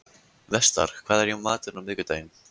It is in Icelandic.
Vestar, hvað er í matinn á miðvikudaginn?